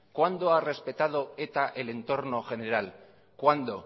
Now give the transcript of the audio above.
cuándo ha respetado eta el entorno general cuándo